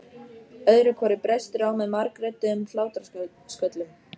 Öðru hvoru brestur á með margrödduðum hlátrasköllum.